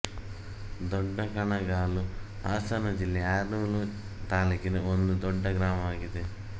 ದೊಡ್ಡಕಣಗಾಲು ಹಾಸನ ಜಿಲ್ಲೆ ಆಲೂರು ತಾಲೂಕಿನ ಒಂದು ದೊಡ್ಡ ಗ್ರಾಮವಾಗಿದೆ